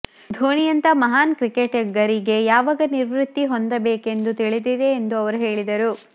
ಧೋನಿಯಂತಹ ಮಹಾನ್ ಕ್ರಿಕೆಟಿಗರಿಗೆ ಯಾವಾಗ ನಿವೃತ್ತಿ ಹೊಂದಬೇಕೆಂದು ತಿಳಿದಿದೆ ಎಂದು ಅವರು ಹೇಳಿದರು